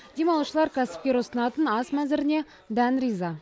демалушылар кәсіпкер ұсынатын ас мәзіріне дән риза